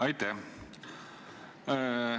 Aitäh!